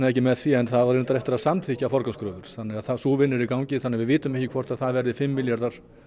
ekki með því en þá á reyndar eftir að samþykkja forgangskröfur þannig að sú vinna er í gangi þannig að við vitum ekki hvort að það verði fimm milljarðar